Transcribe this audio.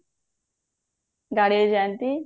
ଗାଡିରେ ଯାନ୍ତି